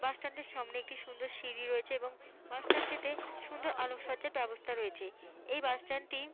বাস স্ট্যান্ডের সামনে একটি সুন্দর সিঁড়ি রয়েছে এবং বাস স্ট্যান্ড থেকে সুন্দর আলোরসজ্জার ব্যবস্থা রয়েছে। এই বাস স্ট্যান্ডটি ।